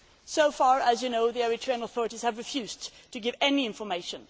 So far, as you know, the Eritrean authorities have refused to give any information.